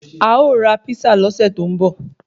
A ó ra písà lọ́sẹ̀ tó ń bọ